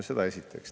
Seda esiteks.